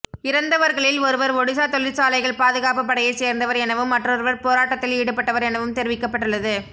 இறந்தவர்களில் ஒருவர் ஒடிஸா தொழிற்சாலைகள் பாதுகாப்பு படையைச் சேர்ந்தவர் எனவும் மற்றொருவர் போராட்டத்தில் ஈடுபட்டவர் எனவும் தெரிவிக்கப்பட்டுள்ளது